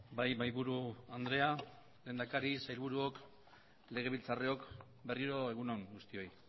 bai mahaiburu andrea lehendakari sailburuok legebiltzarrok berriro egun on guztioi